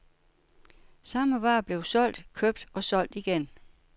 Samme vare blev solgt, købt og og solgt igen.